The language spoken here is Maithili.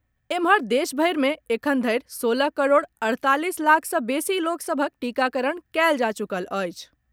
एम्हर, देशभरि मे एखन धरि सोलह करोड़ अड़तालीस लाख सँ बेसी लोक सभक टीकाकरण कयल जा चुकल अछि।